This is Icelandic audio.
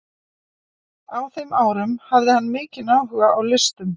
Á þeim árum hafði hann mikinn áhuga á listum.